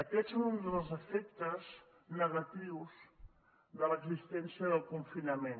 aquests són uns dels efectes negatius de l’existència del confinament